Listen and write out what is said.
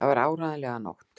Það var áreiðanlega nótt.